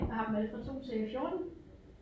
Jeg har dem alle fra 2 til 14